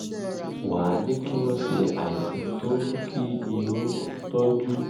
wá a ní kí wọ́n ṣe àìsàn tó ń mú kí irun tọ́jú